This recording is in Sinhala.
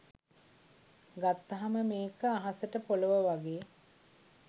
ගත්තහම මේක අහසට පොලොව වගේ